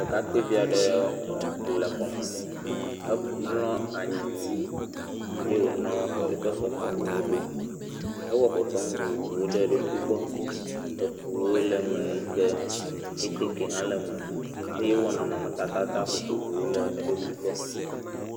Ɖekakpuivi aɖe le xɔ me, emlɔ anyi eye wònɔ eƒe fefe nuwo ɖom. Ewɔ fefe nu vovovowo ɖe eɖokui gbɔ, eŋuwo le yike kɛte kɛ hã le me eye ewɔ nɔnɔmetata vovovowo ɖe eɖokui gbɔ.